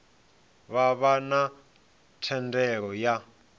vha vha na thendelo ya